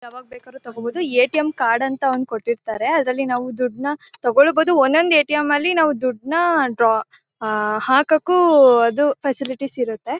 ಯಾವಾಗ ಬೇಕಾದ್ರು ತಗೋಬಹುದು ಎ_ಟಿ_ಎಂ ಕಾರ್ಡ್ ಅಂತ ಒಂದು ಕೊಟ್ಟಿರ್ತಾರೆ ಅದರಲ್ಲಿ ನಾವು ದುಡ್ನ ತಗೊಳ್ಳು ಬಹುದು ಒಂದೊಂದು ಎ_ಟಿ_ಎಂ ನಲ್ಲಿ ನಾವು ದುಡ್ನ ಡ್ರಾ ಆ ಹಾಕಕ್ಕೂ ಫೆಸಿಲಿಟಿ ಇರುತ್ತೆ.